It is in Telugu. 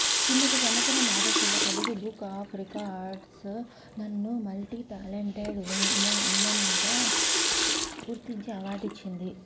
కిందటి సంవత్సరం ఆగస్టులో తెలుగు బుక్ ఆఫ్ రికార్డ్స్ నన్ను మల్టీటాలెంటెడ్ ఉమన్గా గుర్తించి అవార్డు ఇచ్చింది